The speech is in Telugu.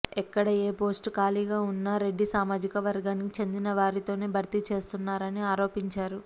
ఎక్కడ ఏ పోస్టు ఖాళీగా ఉన్నా రెడ్డి సామాజిక వర్గానికి చెందినవారితోనే భర్తీ చేస్తున్నారని ఆరోపించారు